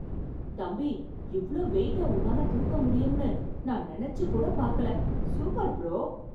தம்பி! இவ்ளோ வெயிட்ட உன்னால தூக்க முடியும்னு நான் நினைச்சுச்சு கூட பாக்கல. Super bro!